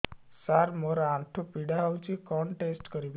ସାର ମୋର ଆଣ୍ଠୁ ପୀଡା ହଉଚି କଣ ଟେଷ୍ଟ କରିବି